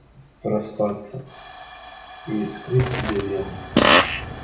проспаться и вскрыть себе вены